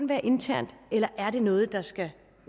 være internt eller er det noget der skal